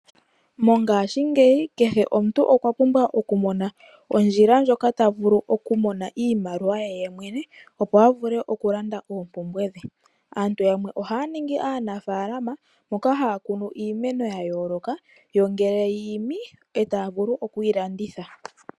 Mongashingeyi kehe omuntu okwa pumbwa oku mona ondjila ndjoka ta vulu oku mona iimaliwa ye yemwene. Opo a vule oku landa oompumbwe dhe. Aantu yamwe ohaa ningi aanafalama mboka haa kunu iimeno yayoloka. Yo ngele yiimi taya vulu okuyi landitha.